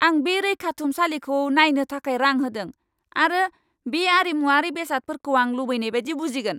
आं बे रैखाथुमसालिखौ नायनो थाखाय रां होदों, आरो बे आरिमुआरि बेसादफोरखौ आं लुबैनाय बायदि बुजिगोन।